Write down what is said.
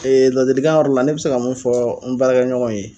laadilikan yɔrɔ la ne bɛ se ka mun fɔ n baara kɛ ɲɔgɔnw ye